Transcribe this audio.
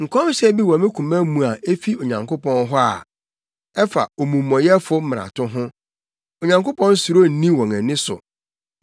Nkɔmhyɛ bi wɔ me koma mu a efi Onyankopɔn hɔ a ɛfa omumɔyɛfo mmarato ho. Onyankopɔn suro nni wɔn ani so.